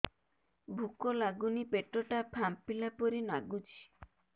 ଭୁକ ଲାଗୁନି ପେଟ ଟା ଫାମ୍ପିଲା ପରି ନାଗୁଚି